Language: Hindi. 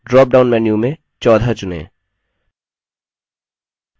drop down menu में 14 चुनें